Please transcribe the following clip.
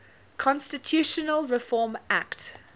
constitutional reform act